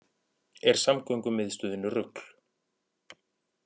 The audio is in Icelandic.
Er samgöngumiðstöðin rugl